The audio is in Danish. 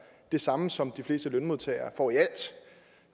det samme som de fleste lønmodtagere får i alt